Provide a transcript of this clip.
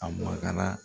A makala